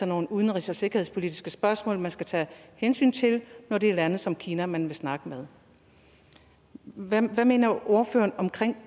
nogle udenrigs og sikkerhedspolitiske spørgsmål man skal tage hensyn til når det er lande som kina man vil snakke med hvad mener ordføreren om